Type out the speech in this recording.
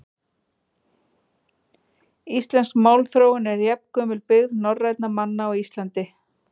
Íslensk málþróun er jafngömul byggð norrænna manna á Íslandi.